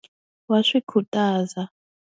Wa swi khutaza.